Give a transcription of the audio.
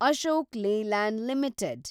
Ashok Leyland limited